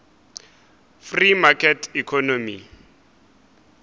free market economy